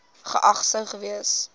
geag sou gewees